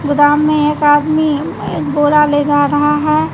गोदाम में एक आदमी गोला ले जा रहा है।